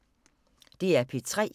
DR P3